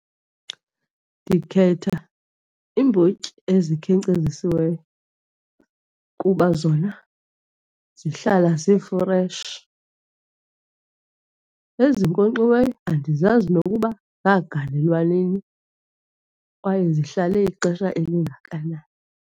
Ndikhetha iimbotyi ezikhenkcezisiweyo kuba zona zihlala zifreshi. Ezinkonkxiweyo andizazi ukuba zagalelwa nini kwaye zihlale ixesha elingakanani.